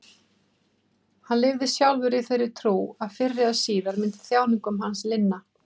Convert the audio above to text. Hann lifði sjálfur í þeirri trú að fyrr eða síðar myndi þjáningum hans linna.